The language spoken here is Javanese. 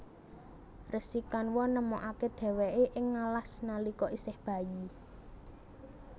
Resi Kanwa nemokaké dhèwèké ing ngalas nalika isih bayi